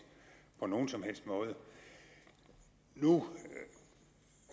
på nogen som helst måde nu